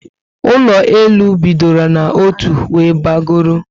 Ụlọ elu bịdọrọ n'otu were bagoro